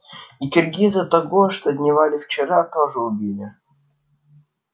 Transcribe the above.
и киргиза того что дневалил вчера тоже убили